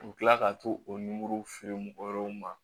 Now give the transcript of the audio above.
U bɛ tila ka t'o feere mɔgɔ wɛrɛw ma